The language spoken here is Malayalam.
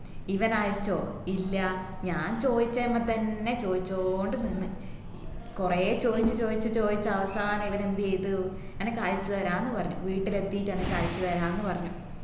ഇവനയച്ചോ ഇല്ല ഞാൻ ചോയ്ച്ചമ്മതന്നെ ചോയ്ച്ചോണ്ടു നിന്ന് കൊറേ ചോയിച്ചു ചോയിച്ചു ചോയിച്ചു അവസാനം ഇവനെന്ത് ചെയ്തു അനക്ക് അയച് താരാന്ന് പറഞ്ഞു വീട്ടിലെത്തീട്ട് അനക്ക് അയച്ചു താരാന്ന് പറഞ്ഞു